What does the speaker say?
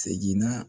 Seginna